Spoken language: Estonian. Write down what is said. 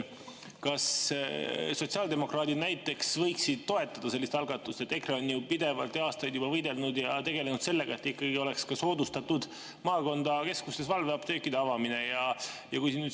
Kas sotsiaaldemokraadid näiteks võiksid toetada sellist algatust, mille eest EKRE on ju pidevalt ja aastaid juba võidelnud ja millega tegelenud, et ikkagi soodustataks maakonnakeskustes valveapteekide avamist?